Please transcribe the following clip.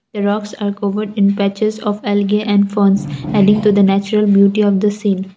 a rocks are covered in patches of algae and pounds align to the natural beauty of the same.